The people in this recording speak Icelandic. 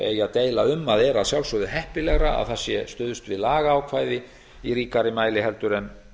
eigi að deila um að er að sjálfsögðu heppilegra að það sé stuðst við lagaákvæði í ríkari mæli en